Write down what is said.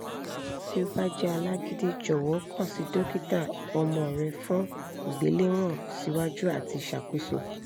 ti o ba jẹ alagidi jọwọ kan si dokita ọmọ rẹ fun igbelewọn siwaju ati iṣakoso